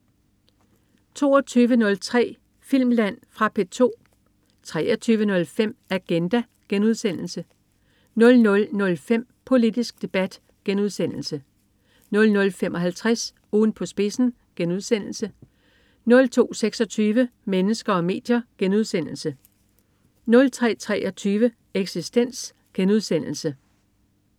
22.03 Filmland. Fra P2 23.05 Agenda* 00.05 Politisk Debat* 00.55 Ugen på spidsen* 02.26 Mennesker og medier* 03.23 Eksistens*